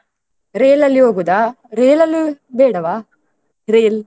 Rail ಅಲ್ಲಿ ಹೋಗುದಾ? Rail ಅಲ್ಲಿ ಬೇಡವಾ? Rail ?